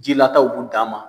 Jilataw b'u dan ma.